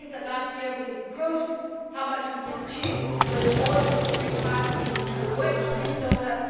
I think that last year we proved how much we can achieve when we all take part in the work in Doha.